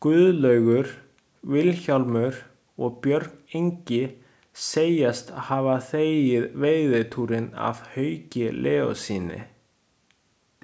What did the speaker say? Guðlaugur, Vilhjálmur og Björn Ingi segjast hafa þegið veiðitúrinn af Hauki Leóssyni.